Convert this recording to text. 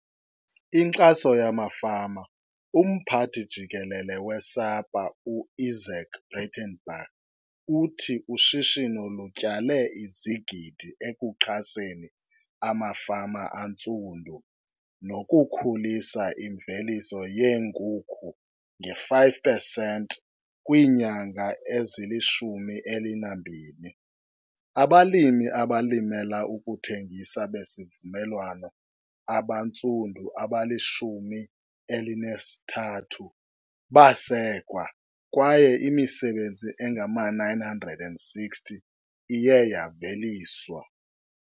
Inkxaso yamafama Umphathi Jikelele we-SAPA u-Izaak Breitenbach uthi ushishino lutyale izigidi ekuxhaseni amafama antsundu nokukhulisa imveliso yeenkukhu nge-5 percent. Kwiinyanga nje ezili-12, abalimi abalimela ukuthengisa besivumelwano abantsundu abali-13 baye basekwa kwaye imisebenzi engama-960 iye yaveliswa.